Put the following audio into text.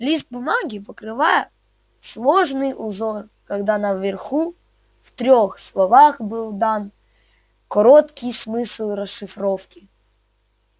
лист бумаги покрывал сложный узор кода а наверху в трёх словах был дан короткий смысл расшифровки